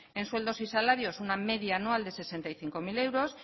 en sueldos y salarios una media anual de sesenta y cinco mil euros